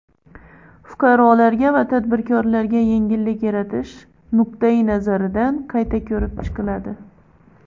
fuqarolarga va tadbirkorlarga yengillik yaratish nuqtai-nazaridan qayta ko‘rib chiqiladi.